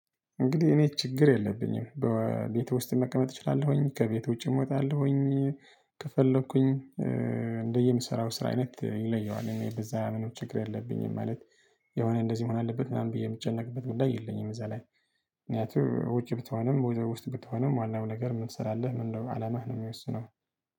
እንግዲህ እኔ ችግር የለብኝም በቤቱ ውስጥ መቀመጥ እችላለሁኝ ከቤት ውጪ እዎጣለሁኝ እዎጣለሁኝ ከፈለኩኝ እንደየምሰራው ስራ አይነት ይለየዋል እኔ በዛ አመኖች ችግር የለብኝም ማለት የሆነ እንደዚህ መሆን አለበት ምናምን ብዬ የምጨነቅበት ጉዳይ የለኝም እዛ ላይ ምክንያቱም ውጪ ብትሆንም ወይ ውስጥ ብትሆንም ዋናው ነገር ምን ትሰራለህ ወይም ደግሞ አላማህ ነው ሚወስነው።